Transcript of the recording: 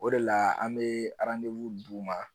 O de la an bɛ d'u ma